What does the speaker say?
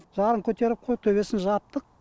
жағын көтеріп қойып төбесін жаптық